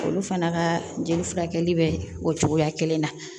Olu fana ka jeli furakɛli bɛ o cogoya kelen na